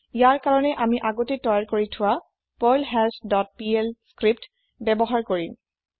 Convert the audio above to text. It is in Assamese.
ইয়াৰ ককাৰণে আমি আগতেই তৈয়াৰ কৰি থোৱা পাৰ্লহাছ ডট পিএল স্ক্ৰিপ্ত্ ব্যৱহাৰ কৰিম